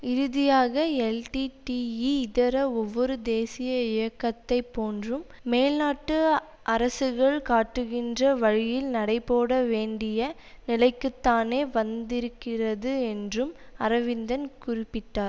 இறுதியாக எல்டிடிஇ இதர ஒவ்வொரு தேசிய இயக்கத்தை போன்றும் மேல்நாட்டு அரசுகள் காட்டுகின்ற வழியில் நடைபோட வேண்டிய நிலைக்குத்தானே வந்திருக்கிறது என்றும் அரவிந்தன் குறிப்பிட்டார்